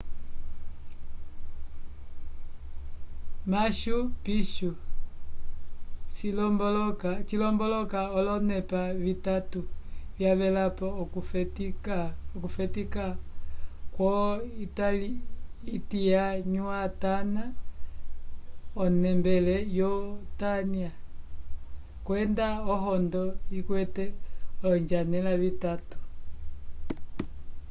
machu pichu cilomboloka olonepa vitatu vyavelapo okufetika kwo-intiahuatana onembele yutanya kwenda ohondo ikwete olonjanela vitatu